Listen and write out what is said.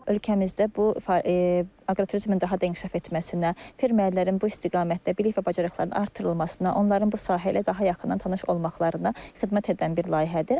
Ölkəmizdə bu aqroturizmin daha da inkişaf etməsinə, fermerlərin bu istiqamətdə bilik və bacarıqlarını artırılmasına, onların bu sahə ilə daha yaxından tanış olmaqlarına xidmət edən bir layihədir.